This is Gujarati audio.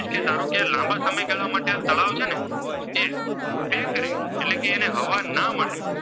તેને હવા ના મળે